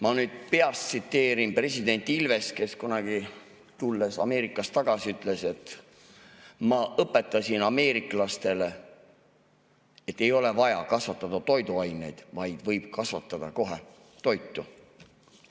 Ma nüüd peast tsiteerin president Ilvest, kes kunagi, tulles Ameerikast tagasi, ütles, et ma õpetasin ameeriklastele, et ei ole vaja kasvatada toiduaineid, vaid võib kohe kasvatada toitu.